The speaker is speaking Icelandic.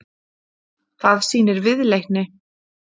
Það sýnir viðleitni